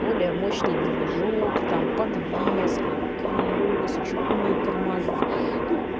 более мощный движок там подвеска колеса чугунные тормаза ну